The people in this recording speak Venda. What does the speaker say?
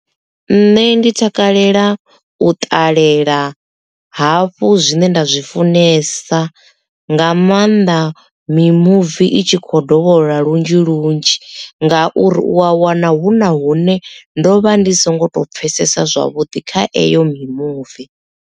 Nṋe ndi takalela u ṱalela hafhu zwine nda zwi funesa nga maanḓa mimuvi i tshi kho dovholola lunzhi lunzhi nga uri u a wana hu na hune ndo vha ndi songo to pfesesa zwavhuḓi kha eyo mimuvi.